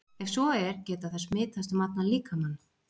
Ef svo er, geta þær smitast um allan líkamann?